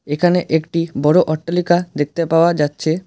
এখানে একটি বড়ো অট্টালিকা দেখতে পাওয়া যাচ্ছে।